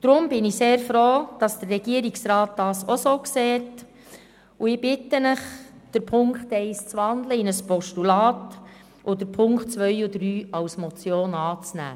Deshalb bin ich sehr froh, dass der Regierungsrat dies auch so sieht, und ich bitte Sie, Punkt 1 in als Postulat gewandelt und die Punkte 2 und 3 als Motion anzunehmen.